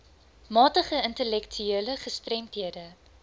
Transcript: matige intellektuele gestremdhede